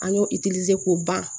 An y'o k'o ban